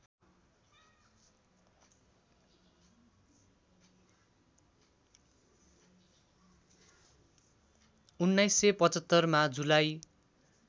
१९७५ मा जुलाई